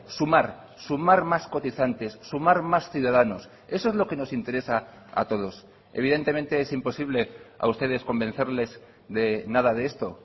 sumar sumar más cotizantes sumar más ciudadanos eso es lo que nos interesa a todos evidentemente es imposible a ustedes convencerles de nada de esto